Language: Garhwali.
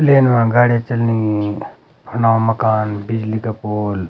लेन मा गाडी चलनीं फुंडो मकान बिजली का पोल ।